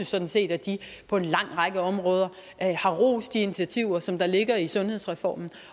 sådan set at de på en lang række områder har rost de initiativer som der ligger i sundhedsreformen